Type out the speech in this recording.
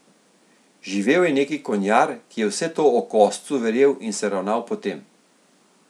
Živel je neki konjar, ki je vse to o koscu verjel in se ravnal po tem.